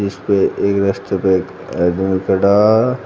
इस पे एक रास्ते पे एक